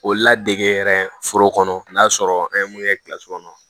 O ladege yɛrɛ foro kɔnɔ n'a sɔrɔ an ye mun kɛ kilasi kɔnɔ